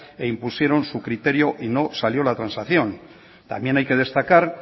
e impusieron su criterio y no salió la transacción también hay que destacar